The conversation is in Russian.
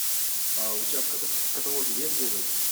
у тебя в каталоге есть гоголь